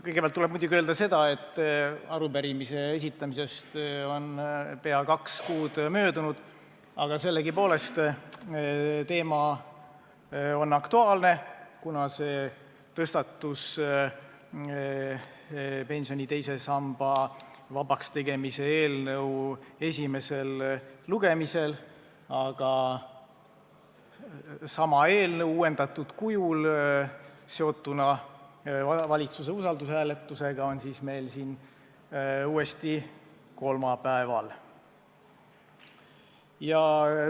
Kõigepealt tuleb muidugi öelda seda, et arupärimise esitamisest on pea kaks kuud möödunud, aga sellegipoolest on teema aktuaalne, kuna see tõstatus pensioni teise samba vabaks tegemise eelnõu esimesel lugemisel, aga sama eelnõu uuendatud kujul seotuna valitsuse usaldushääletusega on meil siin uuesti kolmapäeval arutusel.